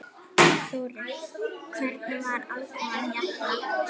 Þórir: Hvernig var aðkoman hérna?